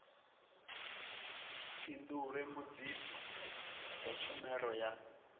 fhindule mbudziso dza tshumelo ya